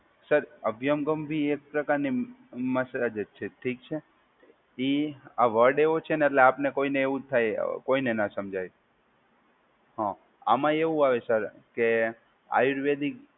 Sir અભિયંગમ બી એક પ્રકાર ની મસાજ જ છે. ઠીક છે. એ આ વર્ડ એવો છે ને એટલે આપને કોઈને એવું થાય કોઈને ના સમજાય. હા આમાં એવું આવે સર કે આયુર્વેદિક